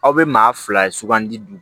Aw bɛ maa fila sugandi